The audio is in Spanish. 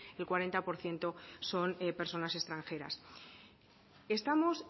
el cuarenta por ciento son personas extranjeras estamos